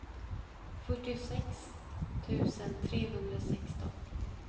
fyrtiosex tusen trehundrasexton